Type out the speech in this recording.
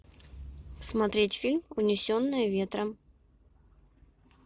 смотреть фильм унесенные ветром